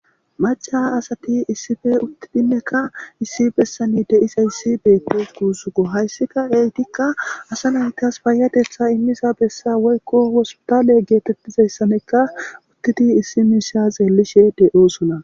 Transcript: Maca asati issife uttidinneka issi bessani deisa yssi beettes guusuko hayssika deytikka asa naytas baayadetha immiza bessa woykko wospotaale geetettizayssanekka uttidi issi miisha xeellishe de'oosona.